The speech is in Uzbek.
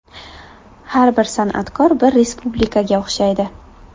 Har bir san’atkor bir respublikaga o‘xshaydi.